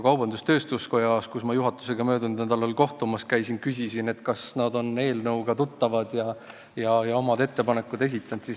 Kaubandus-tööstuskojas, mille juhatusega ma möödunud nädalal kohtumas käisin, küsisin ma, kas nad on eelnõuga tuttavad ja omad ettepanekud esitanud.